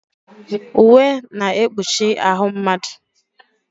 Uwe na-ekpuchi ahụ mmadụ.